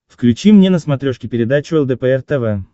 включи мне на смотрешке передачу лдпр тв